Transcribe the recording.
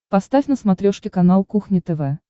поставь на смотрешке канал кухня тв